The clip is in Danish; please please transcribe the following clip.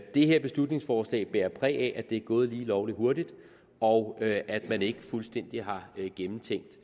det her beslutningsforslag bærer præg af at det er gået lige lovlig hurtigt og at at man ikke fuldstændig har gennemtænkt